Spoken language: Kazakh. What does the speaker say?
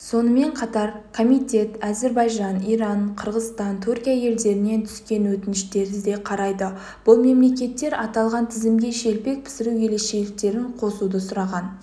сонымен қатар комитетәзірбайжан иран қырғызстан түркия елдерінен түскен өтініштерді де қарайды бұл мемлекеттер аталған тізімгешелпек пісіру ерекшеліктерін қосуды сұраған